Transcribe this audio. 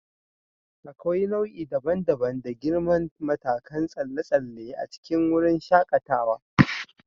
Akwai nau'i daban-daban da girman matakan tsalle tsalle a cikin wurin shakatawa.